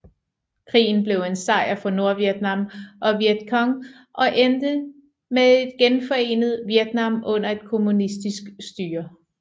Krigen blev en sejr for Nordvietnam og Vietcong og endte med et genforenet Vietnam under et kommunistisk styre